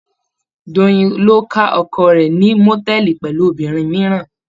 Doyin ló ká oko rẹ̀ ní mòtẹ́ẹ́lì pẹ̀lú obìnrin mìíràn.